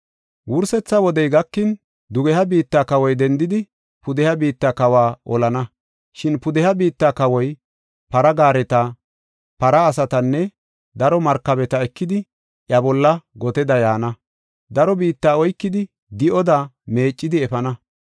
“Wursetha wodey gakin, dugeha biitta kawoy dendidi, pudeha biitta kawa olana. Shin pudeha biitta kawoy para gaareta, para asatanne daro markabeta ekidi, iya bolla goteda yaana. Daro biitta oykidi, di7oda meecidi efana.